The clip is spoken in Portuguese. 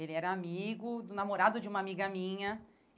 Ele era amigo, do namorado de uma amiga minha.